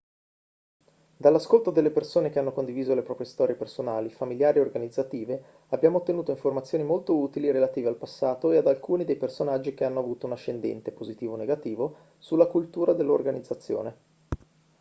dall'ascolto delle persone che hanno condiviso le proprie storie personali familiari e organizzative abbiamo ottenuto informazioni molto utili relative al passato e ad alcuni dei personaggi che hanno avuto un ascendente positivo o negativo sulla cultura dell'organizzazione